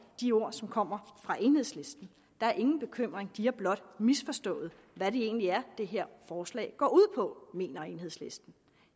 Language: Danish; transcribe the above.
de ord som kommer fra enhedslisten der er ingen bekymring de har blot misforstået hvad det egentlig er det her forslag går ud på mener enhedslisten